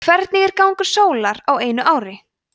hvernig er gangur sólar á einu ári